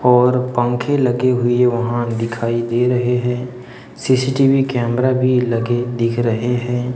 और पंखे लगे हुए वहां दिखाई दे रहे हैं सी_सी_टी_वी कैमरा भी लगे दिख रहे हैं।